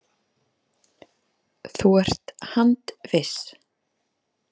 Þú ert handviss?